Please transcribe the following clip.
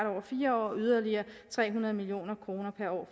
over fire år og yderligere tre hundrede million kroner